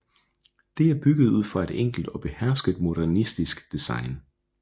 Det er bygget ud fra et enkelt og behersket modernistisk design